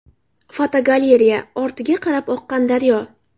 Fotogalereya: Ortiga qarab oqqan daryo .